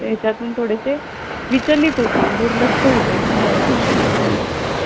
तिला सांगायची नाव लिहिणार होती पण तू मला चांगलं ओळखती म्हणून नाही लिहिलं. असं करायची. पण मज्जा यायची.